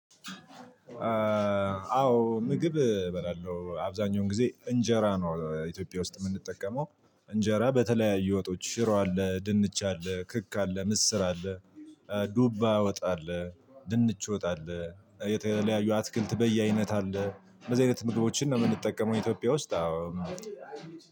አዎ ምግብ እበላለው አብዛኛውን ጊዜ እንጀራ ነው ኢትዮጵያ ውስጥ የምንጠቀመው እንጀራ በተለያዩ ወጦች ሽሮ አለ ድንች አለ ክክ አለ ምስር አለ። ዱባ ወጥ አለ ድንች ወጥ አለ የተለያዩ አትክልት በየአይነት አለ። እንደዚህ አይነት ምግቦችን ነው የምንጠቀመው ኢትዮጵያ ውስጥ አዎ።